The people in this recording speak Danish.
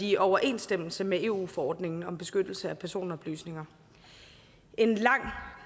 i overensstemmelse med eu forordningen om beskyttelse af personoplysninger en lang